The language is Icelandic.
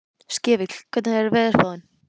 Skefill, hvernig er veðurspáin?